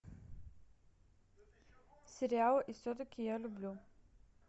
сериал и все таки я люблю